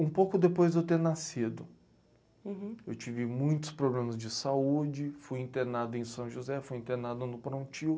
Um pouco depois de eu ter nascido, eu tive muitos problemas de saúde, fui internado em São José, fui internado no Prontil.